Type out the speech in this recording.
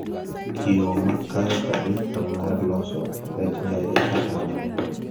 yo makere kabisa marloso rech ngege kata omena